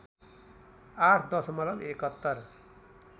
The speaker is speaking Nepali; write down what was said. ८ दशमलव ७१